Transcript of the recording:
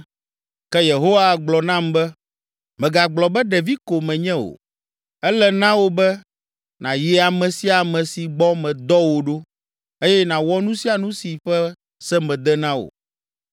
Ke Yehowa gblɔ nam be, “Mègagblɔ be, ‘Ɖevi ko menye’ o. Ele na wò be nàyi ame sia ame si gbɔ medɔ wò ɖo eye nàwɔ nu sia nu si ƒe se mede na wò.